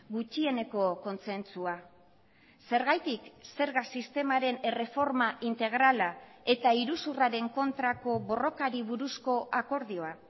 gutxieneko kontsentsua zergatik zerga sistemaren erreforma integrala eta iruzurraren kontrako borrokari buruzko akordioa